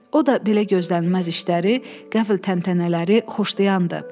O da belə gözlənilməz işləri, qəfil təntənələri xoşlayandı.